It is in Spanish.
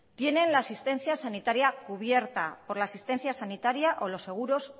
tienen la asistencia sanitaria cubierta por la asistencia sanitaria o los seguros